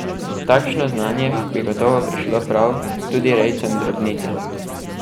Takšno znanje bi gotovo prišlo prav tudi rejcem drobnice.